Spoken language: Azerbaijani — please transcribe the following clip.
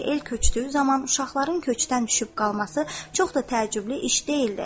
Çünki el köçdüyü zaman uşaqların köçdən düşüb qalması çox da təəccüblü iş deyildi.